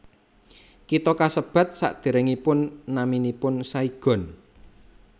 Kitha kasebat sadèrèngipun naminipun Saigon